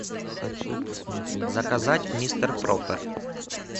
заказать мистер проппер